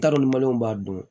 N t'a dɔn b'a dun